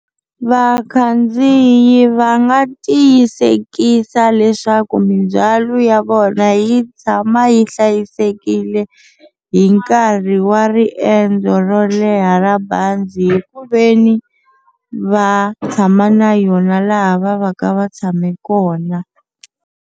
Vakhandziyi va nga tiyisekisa leswaku mindzhwalo ya vona yi tshama yi hlayisekile hi nkarhi wa riendzo ro leha ra bazi hi ku veni va tshama na yona laha va va ka va tshame kona.